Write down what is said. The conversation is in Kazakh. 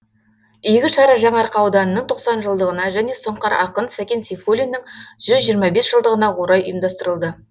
игі шара жаңарқа ауданының тоқсан жылдығына және сұңқар ақын сәкен сейфуллиннің жүз жиырма бес жылдығына орай ұйымдастырылды